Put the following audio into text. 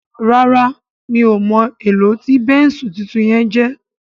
ràrá mi'o mo èló tí Bẹ́ńsù títún yen jé